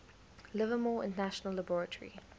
livermore national laboratory